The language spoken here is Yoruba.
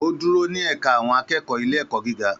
Ó dúró ní ẹ̀ka àwọn akẹ́kọ̀ọ́ ilé-ẹ̀kọ́ gíga.